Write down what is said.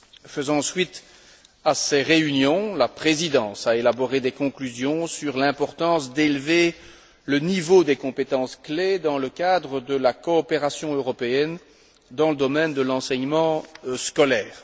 Faisant suite à ces réunions, la Présidence a élaboré des conclusions sur l'importance d'élever le niveau des compétences clés dans le cadre de la coopération européenne dans le domaine de l'enseignement scolaire.